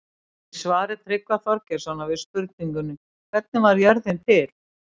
Í svari Tryggva Þorgeirssonar við spurningunni Hvernig varð jörðin til?